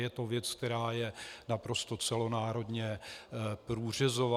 Je to věc, která je naprosto celonárodně průřezová.